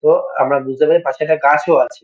তো আমরা বুঝতে পারি পাশে একটা গাছও আছে।